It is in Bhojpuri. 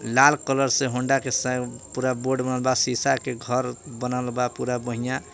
लाल कलर से होंडा के स पूरा बोर्ड बनल बा शीशा के घर बनल बा पूरा बढ़िया।